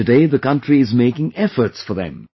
Today the country is making efforts for them